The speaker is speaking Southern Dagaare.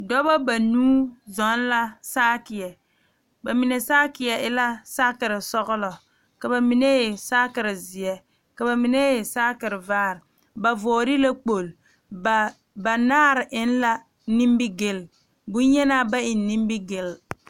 Dɔɔba banuu zɔŋ la saakere bamine saakere e bonsɔglɔ ka bamine e saakere ziɛ ka bamine e saakerevaare ba vɔgle la kpol banaare eŋ la nimigele bonyenaa ba eŋ nimigele.